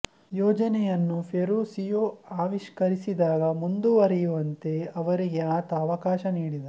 ಯೋಜನೆಯನ್ನು ಫೆರುಸ್ಸಿಯೋ ಆವಿಷ್ಕರಿಸಿದಾಗ ಮುಂದುವರಿಯುವಂತೆ ಅವರಿಗೆ ಆತ ಅವಕಾಶ ನೀಡಿದ